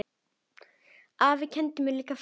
Afi kenndi mér líka fullt.